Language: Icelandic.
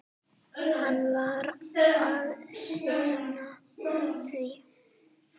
Hann varð að sinna því.